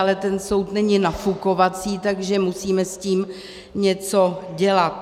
Ale ten soud není nafukovací, takže musíme s tím něco dělat.